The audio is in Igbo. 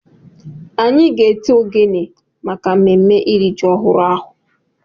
Anyị ga-eti ogene na mmemme iri ji ọhụrụ ahụ